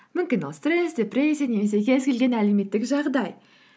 мүмкін ол стресс депрессия немесе кез келген әлеуметтік жағдай